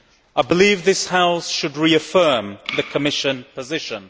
I believe this House should reaffirm the Commission position.